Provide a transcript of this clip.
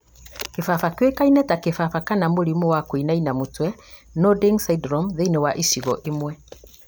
kĩbaba kĩũĩkaine ta kĩbaba kana mũrimũ wa kũinainia mũtwe (nodding syndrome) thĩinĩ wa icigo imwe